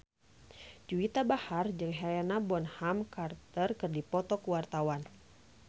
Juwita Bahar jeung Helena Bonham Carter keur dipoto ku wartawan